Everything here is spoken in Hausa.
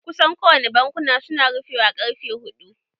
Kusan kowane bankuna su na rufewa ƙarfe huɗ-u